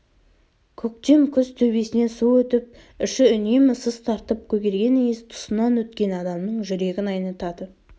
көктем күз төбесінен су өтіп іші үнемі сыз тартып көгерген иіс тұсынан өткен адамның жүрегін айнытады